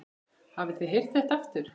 Hafið þið heyrt þetta aftur?